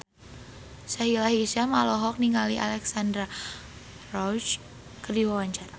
Sahila Hisyam olohok ningali Alexandra Roach keur diwawancara